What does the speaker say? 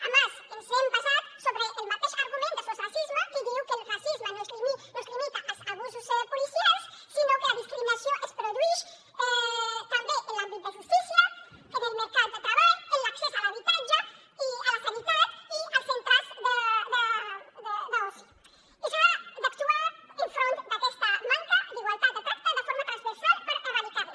a més ens hem basat sobre el mateix argument de sos racisme que diu que el racisme no es limita als abusos policials sinó que la discriminació es produeix també en l’àmbit de justícia en el mercat de treball en l’accés a l’habitatge i la sanitat i als centres d’oci i s’ha d’actuar enfront d’aquesta manca d’igualtat de tracte de forma transversal per erradicar la